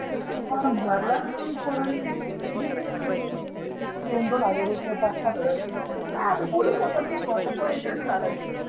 मग भरला ना आम्ही पोरांनी दिले ना दोन दोन हजार रुपये पाच पाच हजार रुपये काय आता बोलू शकत नाही भाऊ आता